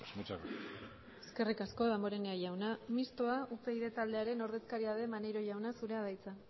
muchas gracias eskerrik asko damborenea jauna mistoa upyd taldearen ordezkaria den maneiro jauna zurea da hitza